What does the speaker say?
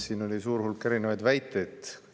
Siin oli suur hulk erinevaid väiteid.